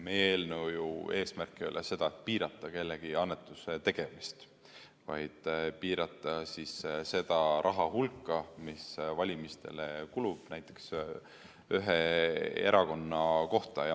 Meie eelnõu eesmärk ei ole piirata kellegi annetuste tegemist, vaid seda raha hulka, mis valimistele kulub näiteks ühe erakonna kohta.